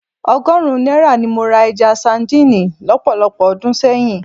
Ọgọ́rùn-ún náírà ni mo ra ẹja sadíìnì lọ́pọ̀lọpọ̀ ọdún sẹ́yìn